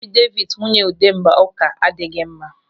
Afideviti nwunye Udemba ụka adịghị mma.